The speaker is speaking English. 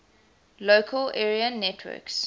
local area networks